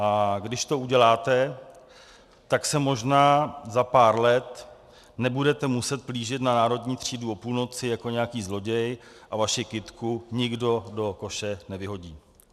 A když to uděláte, tak se možná za pár let nebudete muset plížit na Národní třídu o půlnoci jako nějaký zloděj a vaši kytku nikdo do koše nevyhodí.